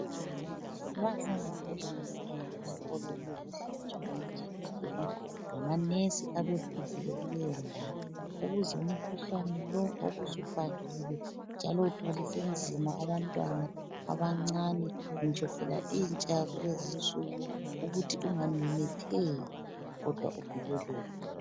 Baze ngobunengi abantwana besikolo ukuzohlatshwa amajekiseni ngamanesi abefikile kuleyondawo ukuze umkhuhlane lo obusubhahile njalo uthwalise nzima abantwana abancane ngitsho phela intsha yakulezi nsuku ukuthi ungamemetheki kodwa uvikeleke.